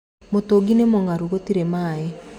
Mũtũngi nĩ mũngaru gũtĩrĩ maĩ.